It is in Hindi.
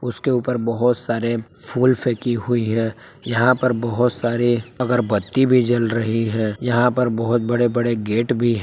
उसके ऊपर बहुत सारे फूल फेंकी हुई है यहां पर बहुत सारे अगरबत्ती भी जल रही है यहां पर बहुत बड़े बड़े गेट भी--